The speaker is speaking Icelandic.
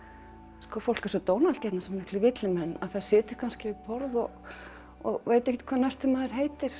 sko fólk er svo dónalegt hérna svo miklir villimenn það situr kannski við borð og og veit ekkert hvað næsti maður heitir